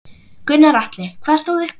Gunnar Atli: Hvað stóð upp úr?